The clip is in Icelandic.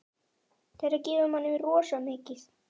Þetta gefur manni rosa mikið.